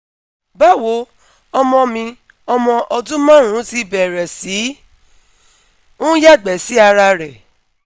bawo ọmọ mi ọmọ ọdun marun ti bẹrẹ si n yagbe si ara rẹ